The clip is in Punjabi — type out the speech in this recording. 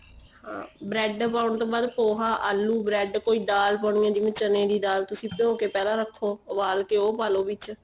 ਹਾਂ bread ਪਾਉਣ ਤੋਂ ਬਾਅਦ ਪੋਹਾ ਆਲੂ bread ਕੋਈ ਦਾਲ ਪਾਉਣੀ ਏ ਚਨੇ ਦੀ ਦਾਲ ਤੁਸੀਂ ਭਿਉ ਕੇ ਪਹਿਲਾਂ ਰੱਖੋ ਉਬਾਲ ਕੇ ਉਹ ਪਾ ਲੋ ਵਿੱਚ